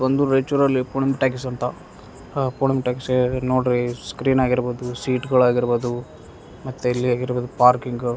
ಬಂದು ರಯ್ಚೂರಲ್ಲಿ ಪೂಣಮ್ ಟಾಕೀಸ್ ಅಂತ ಆ ಪೂಣಮ್ ಟಾಕೀಸೇಗದ್ ನೋಡ್ರಿ ಸ್ಕ್ರೀನ್ ಆಗಿರ್ಬೋದು ಸೀಟ್ಗಳಾಗಿರ್ಬೋದು ಮತ್ತೆ ಇಲ್ಲಿ ಆಗಿರ್ಬೋದು ಪಾರ್ಕಿಂಗ --